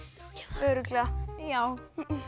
örugglega já